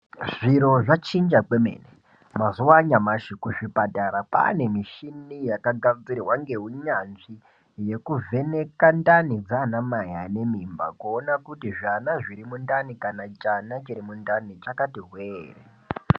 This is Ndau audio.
Zviro zvachinja kwemene mazuva anyamashi kuzvipatara kwava nemisshini yakagadzirwa ngeunyadzvi yekuvheneka ndani dzaana mai vanemimba kuti zvana zviri mundani kana chana chiri mundani chakati hwe here.